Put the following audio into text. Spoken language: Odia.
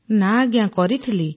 ନା କରିଥିଲି